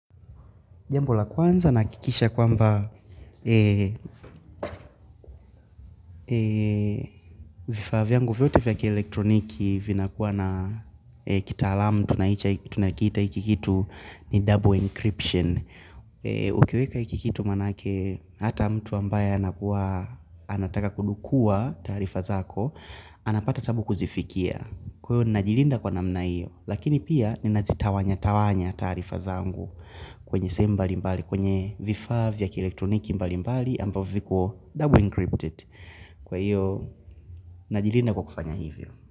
Jambo la kwanza nahakikisha kwamba vifaa vyangu vyote vya kielektroniki vinakuwa na kitaalamu tunakiita hiki kitu ni double encryption. Ukiweka hiki kitu maanake hata mtu ambaye anataka kudukua taarifa zako, anapata taabu kuzifikia. Kwa hiyo ninajilinda kwa namna hiyo Lakini pia ninazitawanya Tawanya taarifa zangu kwenye sehemu mbali mbali kwenye vifaa vya ki elektroniki mbali mbali ambavyo viko double encrypted Kwa hiyo Najilinda kwa kufanya hivyo.